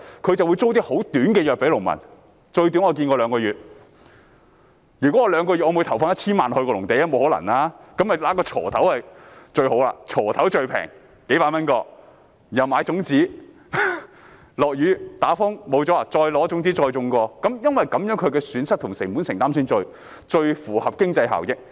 這是不可能的，於是農民只會購買價值數百元的鋤頭及種子，一旦下雨、刮颱風導致農作物失收就再重新耕種，因為只有這樣做，損失和成本承擔才最符合經濟效益。